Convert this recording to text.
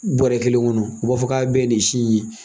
Bɔrɛ kelen kɔnɔ, u b'a fɔ k'a bɛɛ ye nin si in ye.